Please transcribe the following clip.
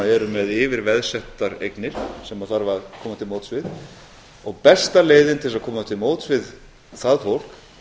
eru með yfirveðsettar eignir sem þarf að koma til móts við og besta leiðin til að koma til móts við það fólk